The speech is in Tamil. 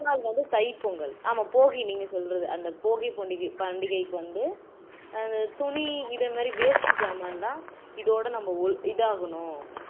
மறுநாள் வந்து தைப்பொங்கல் ஆமா போகி நீங்க சொல்றது அந்த போகிப்போண்டிகை பண்டிகைக்கு வந்து துணி இதே மாதிரி waste ஜாமான்லாம் இதோட நம்ம இதாகணும்